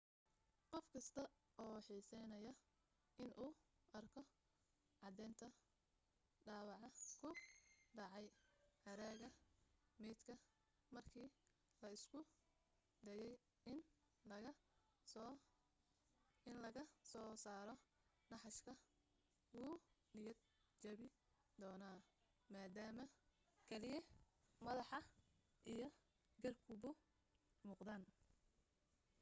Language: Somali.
qof kasta oo xiiseynaya inuu arko caddaynta dhaawaca ku dhacay haraaga maydka markii la isku dayay in laga soo saaro naxashka wuu niyad jabi doonaa maadaama keliya madaxa iyo garbuhu muuqdaan